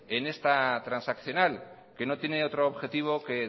en esta transaccional que no tiene otro objetivo que